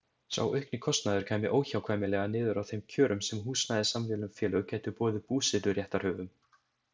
Sá aukni kostnaður kæmi óhjákvæmilega niður á þeim kjörum sem húsnæðissamvinnufélög gætu boðið búseturéttarhöfum.